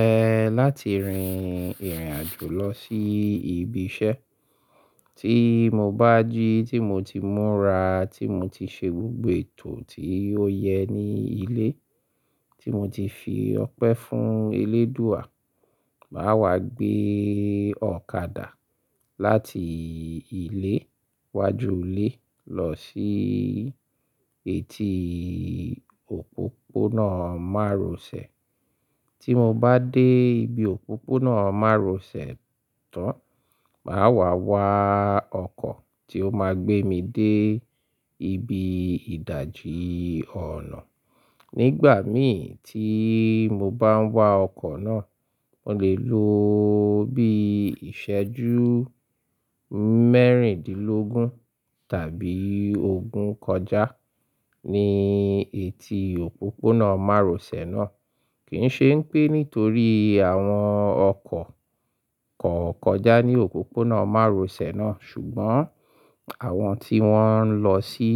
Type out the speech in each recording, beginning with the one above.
Ẹ̀, láti rin ìrìnàjò lọ sí ibi iṣẹ́ tí mo bá jí tí mo ti múra, tí mo ti ṣe gbogbo ètò tí ó yẹ ní ilé, tí mo ti fi ọpẹ́ fún eléèdúà. Máa wá gbé ọ̀kadà láti ilé iwájú ilé lọ sí etí òpópónà márosẹ̀. Tí mo bá dé ibi òpópónà márosẹ̀ tán, màá wá wá ọkọ̀ tí ó máa gbé mi dé ibi ìdàjí ọ̀nà. Nígbà mi tí mo bá ń wá ọkọ̀ náà, mo lè lo bí ìṣẹ́jú mẹ́rìndínlógún tàbí ogún kọjá ní etí òpópónà márosẹ̀ náà. Kì í ṣe ń pé nítorí àwọn ọkọ̀ kọ̀ọ̀ kọjá ní òpópónà márosẹ̀ náà, ṣùgbọ́n àwọn tí wọ́n ń lọ sí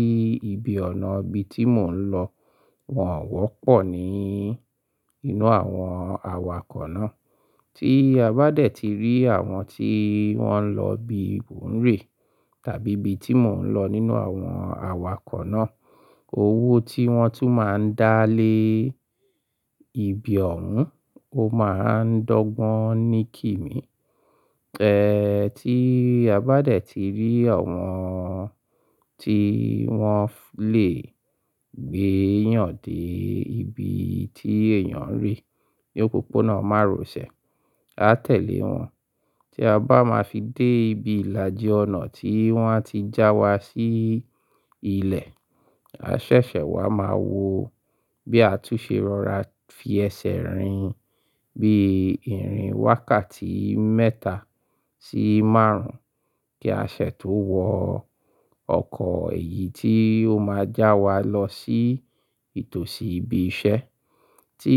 ibi ọ̀nà ibi tí mò ń lọ, wọ́n wọ́pọ̀ ni inú àwọn awakọ̀ náà. Tí a bá dẹ̀ ti rí àwọn tí wọ́n ń lọ ibi mò ń rẹ̀ tàbí ibi tí mò ń lọ nínú àwọn awakọ̀ náà, owó tí wọ́n tún máa ń dá lé ibi ọ̀ún, ó máa ń dọ́gbọ́n ní kì mí. Ẹ̀, tí a bá dẹ̀ ti rí àwọn tí wọ́n lè gbé yàn dé ibi tí èèyàn ń re ní òpópónà márosẹ̀, a tẹ̀lé wọn. Tí a bá máa fi dé ibi ìlàjì ọ̀nà tí wa n ti já wa sí ilẹ̀, a ṣẹ̀ṣẹ̀ wá máa wo bí a tún ṣe rọra fi ẹsẹ̀ rìn, bí ìrìn wákàtí mẹ́ta sí márùn-ún kí a ṣètò wọ ọkọ̀ èyí tí ó máa já wa lọ sí ìtòsí ibi iṣẹ́. Tí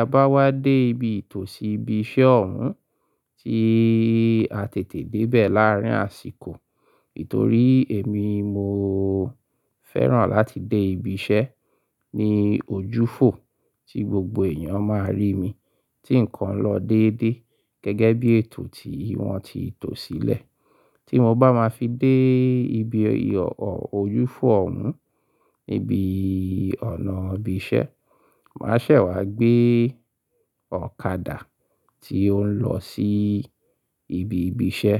a bá wá dé ibi ìtòsí ibi iṣẹ́ ọ̀ún tí a tètè dé bẹ̀ láàárín àsìkò, nítorí èmi mo fẹ́ràn láti dé ibi iṣẹ́ ní ojú fò tí gbogbo èèyàn máa rí mi tí nǹkan lọ déédé gẹ́gẹ́ bí ètò tí wọ́n ti tò sílẹ̀. Tí mo bá máa fi dé ibi ojú fò ọ̀ún níbi ọ̀nà ibi iṣẹ́, màá ṣẹ̀ wá gbé ọ̀kadà tí ó ń lọ sí ibi ibi iṣẹ́.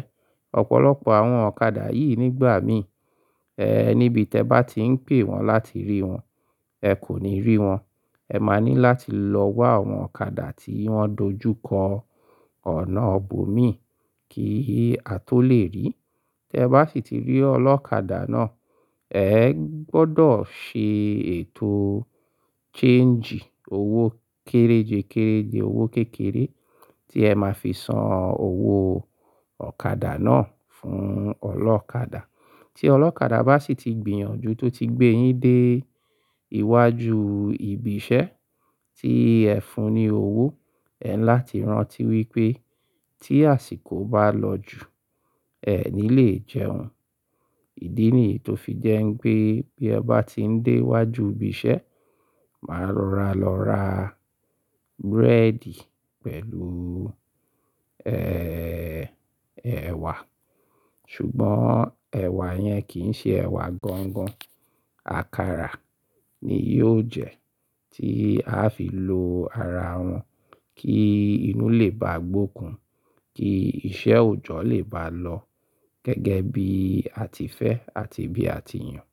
Ọ̀pọ̀lọpọ̀ àwọn ọ̀kadà yìí nígbà mí, ẹ́, níbi tí ẹ bá ti ń pè wọ́n láti rí wọn, ẹ kò ní rí wọn. Ẹ máa ní láti lọ wá àwọn ọ̀kadà tí wọ́n dojúkọ ọ̀nà bò mí kí a tó lè rí. Tí ẹ bá sì ti rí ọlọ́kadà náà, ẹ gbọdọ̀ ṣe ètò changii owó kéréjekérèje, owó kékeré tí ẹ máa fi san owó ọ̀kadà náà fún ọlọ́kadà. Tí ọlọ́kadà bá sì ti gbìyànjú tó ti gbé yín dé iwájú ibi iṣẹ́ tí ẹ fún un ní owó, ẹ láti rántí wípé tí àsìkò bá lọ jù, ẹ ní lè jẹun. Ìdí nìyí tó fi jẹ́ ń pé bí ẹ bá ti ń dé iwájú ibi iṣẹ́, máa rora lọ ra búrẹ́dì pẹ̀lú, ẹ́, ẹ̀wà. Ṣùgbọ́n ẹ̀wà yẹn kì í ṣe ẹ̀wà gangan. Àkàrà ni yóò jẹ́ tí aa fi lo ara wọn kí inú lè bá gbókun kí iṣẹ́ òjọ́ lè bá lọ gẹ́gẹ́ bí a ti fẹ́ àti bí a ti yàn.